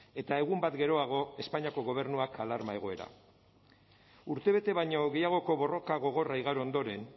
eta egun bat geroago espainiako gobernuak alarma egoera urtebete baino gehiagoko borroka gogorra igaro ondoren